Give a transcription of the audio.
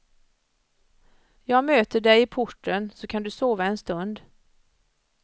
Jag möter dig i porten så kan du sova en stund.